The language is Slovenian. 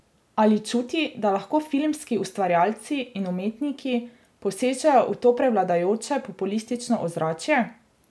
Ali čuti, da lahko filmski ustvarjalci in umetniki posežejo v to prevladujoče populistično ozračje?